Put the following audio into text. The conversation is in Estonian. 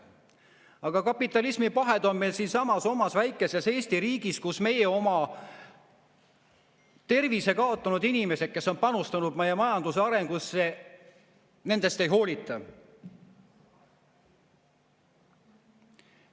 Aga kapitalismi pahed on meil siinsamas omas väikeses Eesti riigis, kus meie oma tervise kaotanud inimestest, kes on panustanud meie majanduse arengusse, ei hoolita.